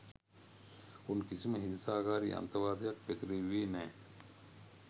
උන් කිසිම හිංසාකාරී අන්තවාදයක් පතිරෙව්වුවේ නැ